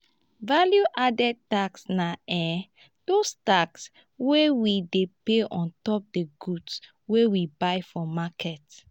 value added tax na um those taxes wey we dey pay ontop di goods wey we buy for market ]